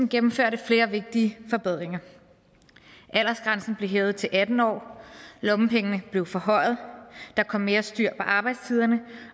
gennemført flere vigtige forbedringer aldersgrænsen blev hævet til atten år lommepengene blev forhøjet der kom mere styr på arbejdstiderne